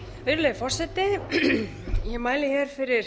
virðulegi forseti ég mæli hér fyrir